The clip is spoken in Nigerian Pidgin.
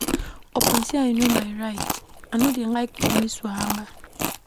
Upon sey I know my right, I no dey like police wahala.